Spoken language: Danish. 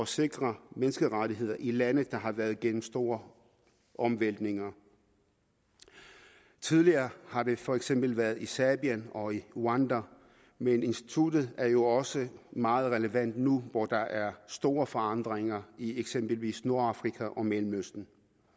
sikre menneskerettigheder i lande der har været gennem store omvæltninger tidligere har det for eksempel været i serbien og rwanda men instituttet er jo også meget relevant nu hvor der er store forandringer i eksempelvis nordafrika og mellemøsten